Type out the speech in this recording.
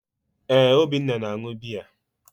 ee, Obinna na-añụ biya.